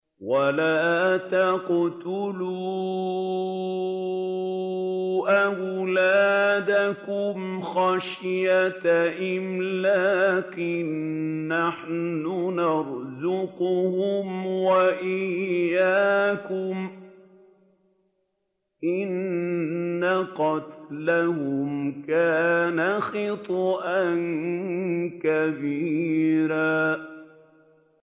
وَلَا تَقْتُلُوا أَوْلَادَكُمْ خَشْيَةَ إِمْلَاقٍ ۖ نَّحْنُ نَرْزُقُهُمْ وَإِيَّاكُمْ ۚ إِنَّ قَتْلَهُمْ كَانَ خِطْئًا كَبِيرًا